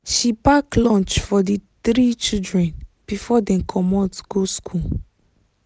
she pack lunch for the three children before dem commot go school